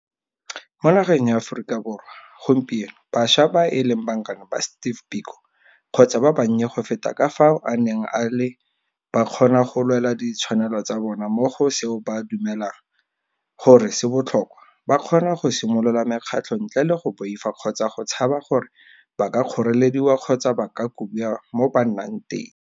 Mo nageng ya Aforika Borwa gompieno bašwa ba e leng bankane ba Steve Biko kgotsa ba bannye go feta ka fao a neng a le ba kgona go lwela ditshwanelo tsa bona mo go seo ba dumelang gore se botlhokwa, ba kgona go simolola mekgatlho ntle le go boifa kgotsa go tshaba gore ba ka kgorelediwa kgotsa ba kobiwa mo ba nnang teng.